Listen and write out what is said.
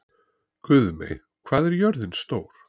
Guðmey, hvað er jörðin stór?